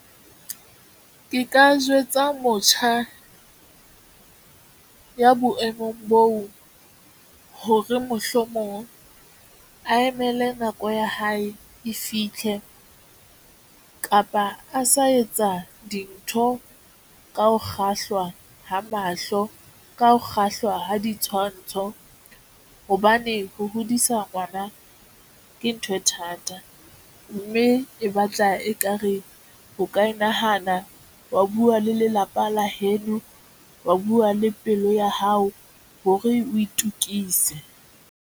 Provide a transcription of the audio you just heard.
Ke ka jwetsa motjha ya boemong boo hore mohlomong a emele nako ya hae e fitlhe kapa a sa etsa dintho ka ho kgahlwa ha mahlo ka ho kgahlwa ha ditshwantsho. Hobane ho hodisa ngwana, ke ntho e thata mme e batla ekare o ka e nahana wa buwa le lelapa la heno, wa buwa le pelo ya hao, hore o itukise.